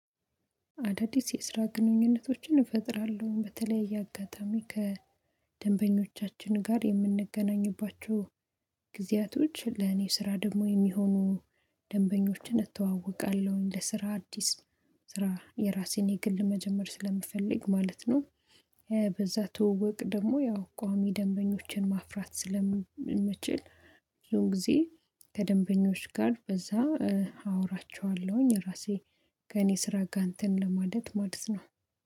አዳዲስ የስራ ግንኙነቶችን እፈጥራለሁ በተለያየ አጋጣሚ ከደንበኞቻችን ጋር የምንገናኙባቸው ጊዜያቶች ለኔ ስራ ደግሞ የሚሆኑ ደንበኞችን እተዋወቃለሁኝ ለስራ አዲስ ስራ የራሴን የግል መጀመር ስለምፈልግ ማለት ነው። ትወውቅ ደግሞ ያው ቋሚ ደንበኞችን ማፍራት ስለምንችል። ብዙን ጊዜ ከደንበኞች ጋር በዛ አወራቸዋለሁኝ። ራሴ ከእኔ ስራ ጋር እንትን ለማለት ማለት ነው።